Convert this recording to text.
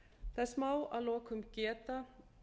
þess má að lokum geta